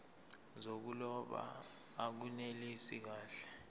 zokuloba akunelisi kahle